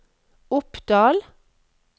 Oppdal